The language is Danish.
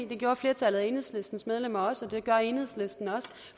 det gjorde flertallet af enhedslistens medlemmer også og det gør enhedslisten også